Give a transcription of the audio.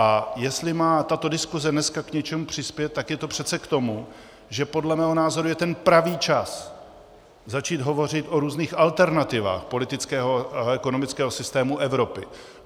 A jestli má tato diskuse dneska k něčemu přispět, tak je to přece k tomu, že podle mého názoru je ten pravý čas začít hovořit o různých alternativách politického a ekonomického systému Evropy.